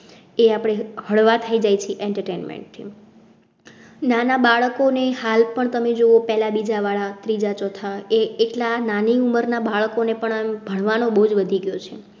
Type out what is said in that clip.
એ આપડે હળવા થયી જાય છે entertainment થી નાના બાળકો ને હાલ પર તમે જોવો પહેલા બીજા વાળા ત્રીજા ચોથા એ~એટલા નાની ઉમરના બાળકો ને પણ ભણવા નો બોજ વધી ગયો છે.